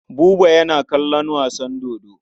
Buba yana kallon wasan dodo.